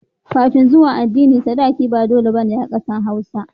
Kafin zuwan adini sadaki ba da dole bane a ƙasar hausa